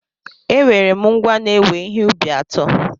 Enwere m ngwá na-ewe ihe ubi atọ.